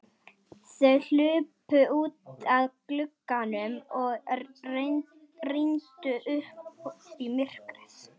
Þau hlupu út að glugganum og rýndu út í myrkrið.